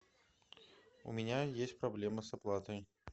у меня есть проблема с оплатой